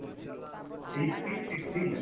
HP fifteen s